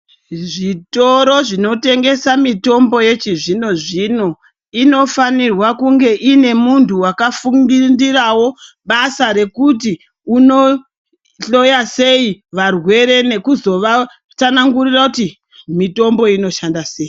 Zvitoro zvinotengesa mitombo yechizvino zvino inofanirwa kunge inemuntu wakafundirawo basa rekutii unohloyasei varwere nekuzo vatsanangurira kuti mitombo inoshanda sei .